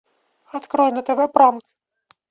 открой на тв пранк